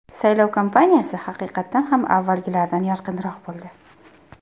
Saylov kampaniyasi, haqiqatan ham avvalgilaridan yorqinroq bo‘ldi.